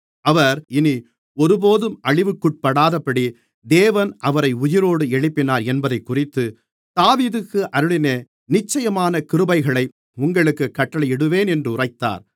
அவர் இனி ஒருபோதும் அழிவுக்குட்படாதபடி தேவன் அவரை உயிரோடு எழுப்பினார் என்பதைக்குறித்து தாவீதுக்கு அருளின நிச்சயமான கிருபைகளை உங்களுக்குக் கட்டளையிடுவேன் என்று உரைத்தார்